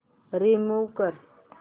remove कर